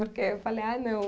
Porque aí eu falei ai, não.